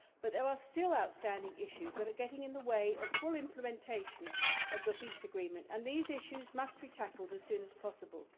But there are still outstanding issues that are getting in the way of full implementation of the peace agreement and these issues must be tackled as soon as possible.